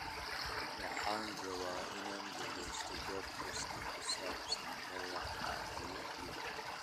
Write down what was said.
Waxaan rabaa inaan dhageysto podcast ku saabsan dhagaxa iyo duubka